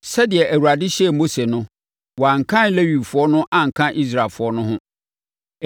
Sɛdeɛ Awurade hyɛɛ Mose no, wɔankan Lewifoɔ no anka Israelfoɔ no ho.